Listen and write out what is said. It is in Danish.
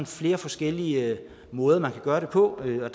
flere forskellige måder man kan gøre det på og